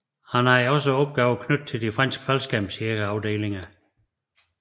Han havde så opgaver knyttet til de franske faldskærmsjægerafdelinger